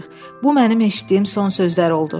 Bu mənim eşitdiyim son sözlər oldu.